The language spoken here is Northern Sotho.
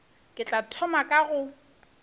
ke tla thoma ka go